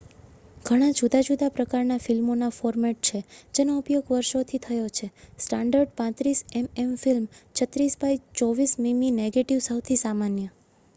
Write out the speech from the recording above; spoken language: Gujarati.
ઘણા ંજુદાં જુદાં પ્રકારનાં ફિલ્મોનાં ફોર્મેટછે જેનો ઉપયોગ વર્ષોથી થયો છે. સ્ટાન્ડર્ડ 35 એમએમ ફિલ્મ 36 બાય 24 મિમી નેગેટિવ સૌથી સામાન્ય